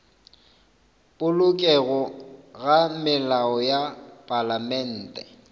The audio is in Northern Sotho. polokego ga melao ya palamente